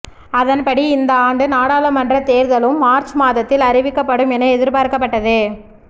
அதன்படி இந்த ஆண்டு நாடாளுமன்றத் தேர்தலும் மார்ச் மாதத்தில் அறிவிக்கப்படும் என எதிர்பார்க்கப்பட்டது